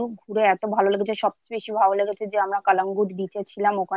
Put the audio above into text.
সবচেয়ে বেশি ভালো লেগেছে যে আমরা কালাম গিয়েছিলাম